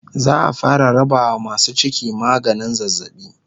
za'a fara rabawa masu ciki maganin zazzabi